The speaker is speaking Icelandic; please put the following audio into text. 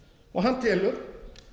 og hann telur